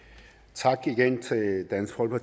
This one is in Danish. tak